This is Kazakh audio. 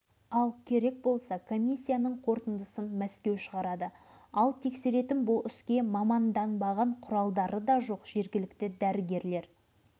әзірге үш жарым мыңдай адамды қарап шықтық әрқайсысында ең аз дегенде аурудың түрі бар бұл анықтаманы